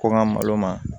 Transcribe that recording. Ko n ka malo ma